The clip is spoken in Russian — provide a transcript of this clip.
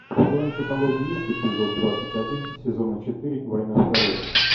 в твоем каталоге есть эпизод двадцать один сезона четыре война в корее